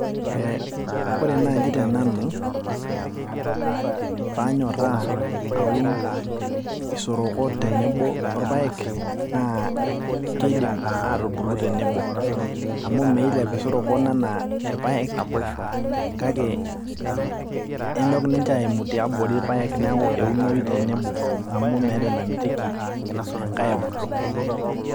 eh, ore naaji tenanu panyorraa aun isoroko tenebo orpayek naa keidim atubulu tenebo amu meilep isorokon anaa irpayek kake enyok ninche aimu tiabori irpayek neku eunoi tenebo amu meeta enamitiki enkae ebulu.